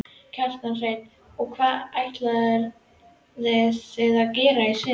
Kjartan Hreinn: Og hvað ætlið þið að gera í sumar?